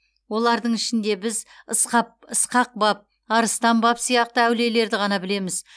олардың ішінде біз ысқақ баб арыстан баб сияқты әулиелерді ғана білеміз